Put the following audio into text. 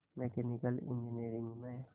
mechanical engineering में